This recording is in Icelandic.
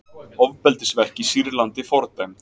Ofbeldisverk í Sýrlandi fordæmd